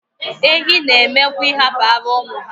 Ehi n'eme kwu ihapu ara umu ha